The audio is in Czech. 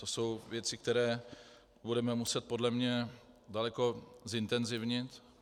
To jsou věci, které budeme muset podle mne daleko zintenzivnit.